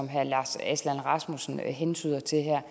herre lars aslan rasmussen hentyder til her